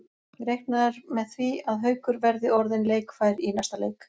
Reiknað er með því að Haukur verði orðinn leikfær í næsta leik.